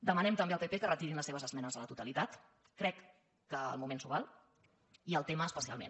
demanem també al pp que retirin les seves esmenes a la totalitat crec que el moment s’ho val i el tema es·pecialment